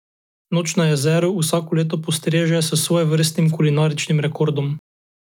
Noč na jezeru vsako leto postreže s svojevrstnim kulinaričnim rekordom.